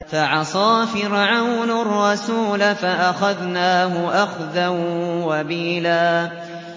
فَعَصَىٰ فِرْعَوْنُ الرَّسُولَ فَأَخَذْنَاهُ أَخْذًا وَبِيلًا